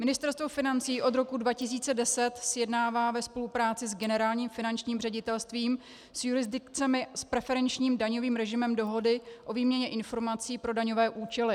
Ministerstvo financí od roku 2010 sjednává ve spolupráci s Generálním finančním ředitelstvím s jurisdikcemi s preferenčním daňovým režimem dohody o výměně informací pro daňové účely.